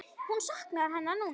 Hún saknar hennar núna.